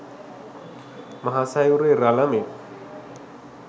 මහ සයුරේ රළ මෙන්